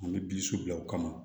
An bɛ bi so bila o kama